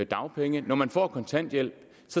dagpenge når man får kontanthjælp